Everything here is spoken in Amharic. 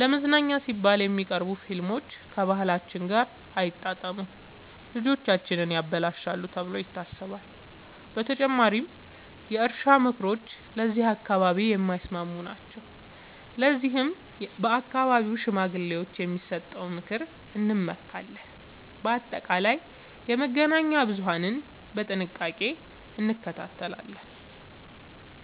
ለመዝናኛ ሲባል የሚቀርቡ ፊልሞች ከባህላችን ጋር አይጣጣሙም፣ ልጆቻችንን ያበላሻሉ ተብሎ ይታሰባል። በተጨማሪም የእርሻ ምክሮች ለዚህ አካባቢ የማይስማሙ ናቸው፤ ለዚህም በአካባቢው ሽማግሌዎች የሚሰጠውን ምክር እንመካለን። በአጠቃላይ የመገናኛ ብዙሀንን በጥንቃቄ እንከታተላለን።